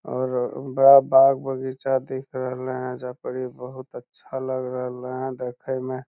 और बड़ा बाग बगीचा दिख रहले हेय जहां पर इ बहुत अच्छा लग रहले हेय देखे में।